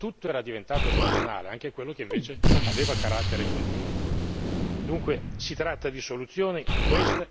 Abbiamo assistito troppe volte ad una deformazione tutto era diventato stagionale, anche quello che invece aveva carattere continuativo.